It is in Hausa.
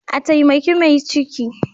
A taimaki mai ciki.